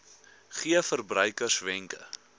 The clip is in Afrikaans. gee verbruikers wenke